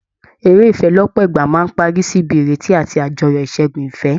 Eré ìfẹ́ lọ́pọ̀ ìgbà máa ń parí sí ibi ìrètí àti àjọyọ̀ ìṣẹ́gun ìfẹ́